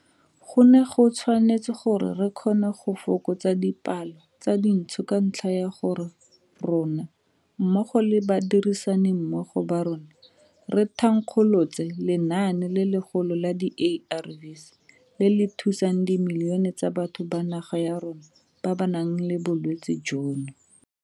Go ne go tshwanetse gore re kgone go fokotsa dipalo tsa dintsho ka ntlha ya gore rona, mmogo le badirisanimmogo ba rona, re thankgolotse lenaane le legolo la di-ARV le le thusang dimilione tsa batho ba naga ya rona ba ba nang le bolwetse jono.